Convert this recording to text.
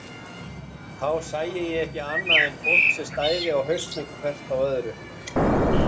Þá sæi ég ekki annað en fólk sem stæði á hausnum hvert á öðru.